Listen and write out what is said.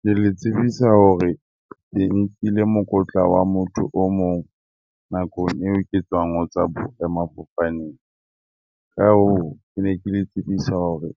Ke le tsebisa hore ke nkile mokotla wa motho o mong nakong eo ke tswang ho tswa boemafofaneng. Ka hoo ke ne ke le tsebisa hore